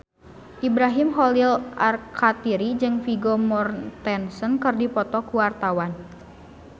Ibrahim Khalil Alkatiri jeung Vigo Mortensen keur dipoto ku wartawan